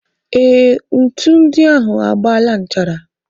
Ee, ntu ndị ahụ agbaala nchara.